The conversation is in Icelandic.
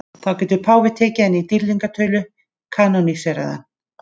Þá getur páfinn tekið hann í dýrlingatölu, kanóníserað hann.